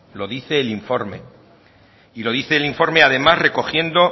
lo dice el informe y lo dice el informe además recogiendo